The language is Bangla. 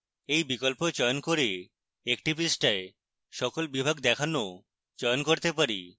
we বিকল্প চয়ন করে একটি পৃষ্ঠায় সকল বিভাগ দেখানো চয়ন করতে পারি